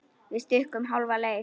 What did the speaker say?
Við stukkum hálfa leið.